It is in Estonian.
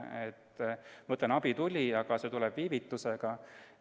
Ma ütlen, et abi tuli, aga see tuli viivitusega.